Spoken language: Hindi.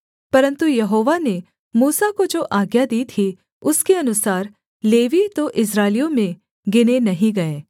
परन्तु यहोवा ने मूसा को जो आज्ञा दी थी उसके अनुसार लेवीय तो इस्राएलियों में गिने नहीं गए